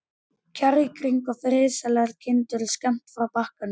Kjarr í kring, og friðsælar kindur skammt frá bakkanum.